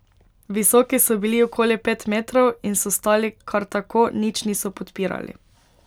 Visoki so bili okoli pet metrov in so stali kar tako, nič niso podpirali.